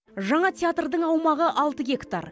жаңа театрдың аумағы алты гектар